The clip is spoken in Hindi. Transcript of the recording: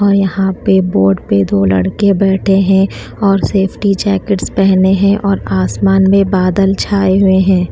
और यहां पे बोट पे दो लड़के बैठे हैं और सेफ्टी जैकेट्स पहने हैं और आसमान में बादल छाए हुए है।